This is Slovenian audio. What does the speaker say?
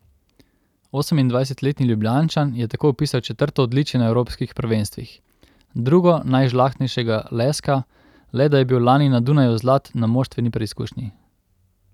Osemindvajsetletni Ljubljančan je tako vpisal četrto odličje na evropskih prvenstvih, drugo najžlahtnejšega leska, le da je bil lani na Dunaju zlat na moštveni preizkušnji.